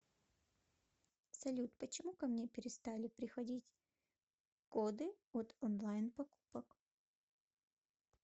салют почему ко мне перестали приходить коды от онлайн покупок